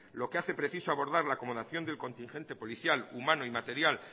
lo que hace preciso abordar la acomodación del contingente policial humano y material